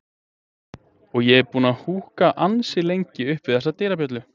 og ég er búinn að húka ansi lengi upp við þessa dyrabjöllu.